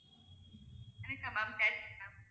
எனக்கா ma'am ma'am